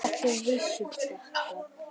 Ertu viss um þetta?